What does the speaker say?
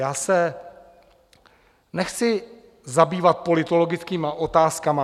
Já se nechci zabývat politologickými otázkami.